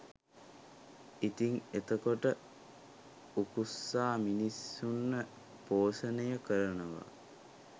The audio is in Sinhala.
ඉතිං එතකොට උකුස්සා මිනිස්සුන්ව පෝෂණය කරනවා